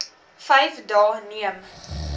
vyf dae neem